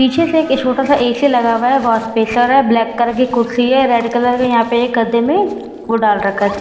पीछे से एक ये छोटा सा एक एसी लगा हुआ है वाशबेसर है ब्लैक कलर की कुर्सी है रेड कलर का एक गद्दे में वो डाल रखा है --